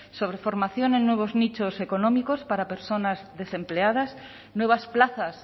sobre formación en nuevos nichos económicos para personas desempleadas nuevas plazas